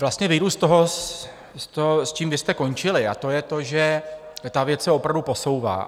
Vlastně vyjdu z toho, s čím vy jste končili, a to je to, že ta věc se opravdu posouvá.